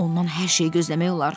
Ondan hər şeyi gözləmək olar.